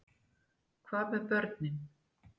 Hvað með börnin?